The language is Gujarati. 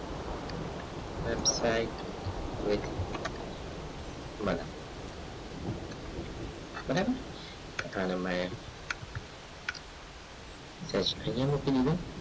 હવે white બરાબર ચોથા નંબર એ આઇયાહ મૂકી દીધું